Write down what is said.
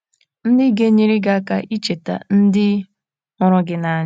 ndị ga - enyere gị aka icheta ndị hụrụ gị n’anya